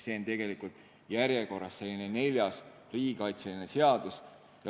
See on siis järjekorras neljas riigikaitseline seadus.